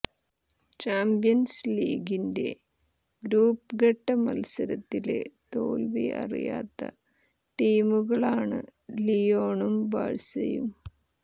champions ലീഗിന്റെ group ഘട്ട മത്സരത്തില് തോല്വി അറിയാത്ത ടീമുകളാണ് ലിയോണും ബാഴ്സയും